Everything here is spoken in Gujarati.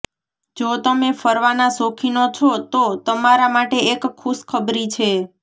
જો તમે ફરવાના શોખીનો છો તો તમારા માટે એક ખુશ ખબરી છે